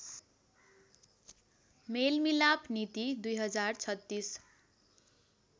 मेलमिलाप नीति २०३६